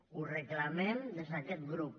ho reclamem des d’aquest grup